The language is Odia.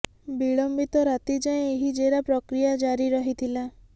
ବିଳମ୍ବିତ ରାତି ଯାଏ ଏହି ଜେରା ପ୍ରକ୍ରିୟା ଜାରି ରହିଥିଲା